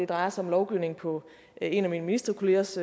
drejer sig om lovgivning på en af mine ministerkollegers